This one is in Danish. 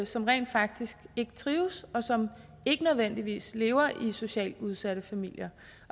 som rent faktisk ikke trives og som ikke nødvendigvis lever i socialt udsatte familier